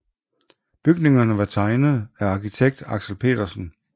Bygningerne var tegnet af arkitekt Aksel Petersen